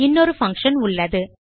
இன்னொரு பங்ஷன் உள்ளது